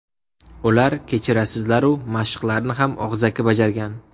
Ular, kechirasizlar-u, mashqlarni ham og‘zaki bajargan.